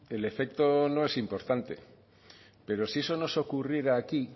el efecto no es importante pero si eso nos ocurriera aquí